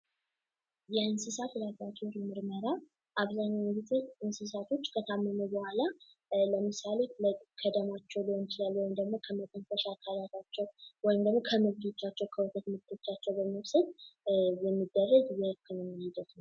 የእንስሳት ከብቶች ምርመራ አብዛኛው ጊዜ ከታመሙ በኋላ ለምሳሌ ከሰውነታቸው ሊሆን ይችላል ከደማቸው ከጎነቻቸው ከሰውነታቸው በመውሰድ የሚደረግ የህክምና ሂደት ነው።